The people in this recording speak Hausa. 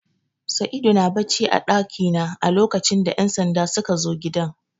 Saidu na bacci a ɗakina a lokacin da ƴan sanda sukazo gidan